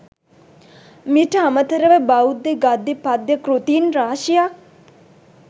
මීට අමතරව බෞද්ධ ගද්‍ය පද්‍ය කෘතීන් රාශියක්